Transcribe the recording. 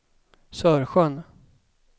Sörsjön